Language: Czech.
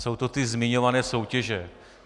Jsou to ty zmiňované soutěže.